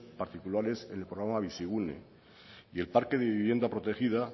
particulares en el programa bizigune y el parque de vivienda protegida